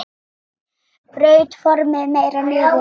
Braut formin meira niður.